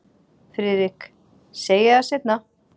FRIÐRIK: Segi það seinna.